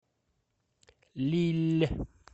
лилль